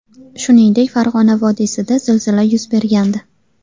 Shuningdek, Farg‘ona vodiysida zilzila yuz bergandi .